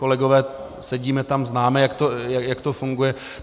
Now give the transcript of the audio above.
Kolegové, sedíme tam, známe, jak to funguje.